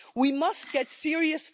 We must get serious.